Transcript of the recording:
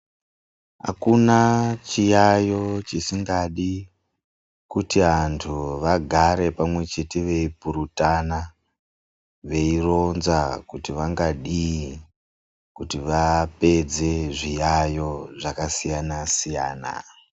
Hakuna chiyaiyo chisingadi kuti antu vagare pamwe chete veipurutana, veironza kuti vangadii kuti vapedze zviyaiyo zvakasiyana-siyana.